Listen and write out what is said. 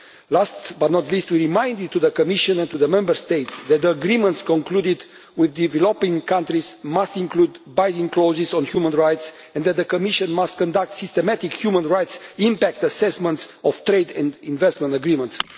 Last but not least, we reminded the Commission and Member States that agreements concluded with developing countries must include binding clauses on human rights and that the Commission must conduct systematic human rights impact assessments of trade and investment agreements.